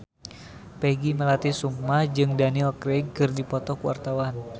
Peggy Melati Sukma jeung Daniel Craig keur dipoto ku wartawan